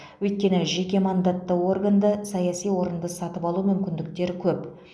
өйткені жеке мандатты органда саяси орынды сатып алу мүмкіндіктері көп